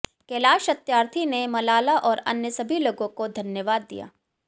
कैलाश सत्यार्थी ने मलाला और अन्य सभी लोगों को धन्यवाद दिया